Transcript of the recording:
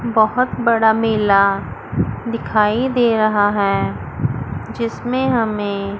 बहोत बड़ा मेला दिखाई दे रहा है जिसमें हमें--